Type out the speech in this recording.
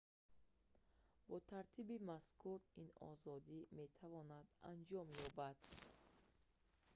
бо тартиби мазкур ин озодӣ метавонад анҷом ёбад